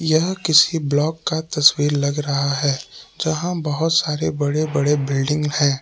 यह किसी ब्लॉक का तस्वीर लग रहा है जहां बहुत सारे बड़े बड़े बिल्डिंग है।